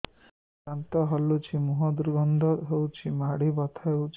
ଦାନ୍ତ ହଲୁଛି ମୁହଁ ଦୁର୍ଗନ୍ଧ ହଉଚି ମାଢି ବଥା ହଉଚି